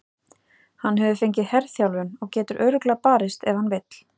Hann hefur fengið herþjálfun og getur örugglega barist ef hann vill.